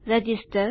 register